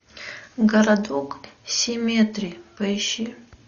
городок семетри поищи